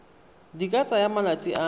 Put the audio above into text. di ka tsaya malatsi a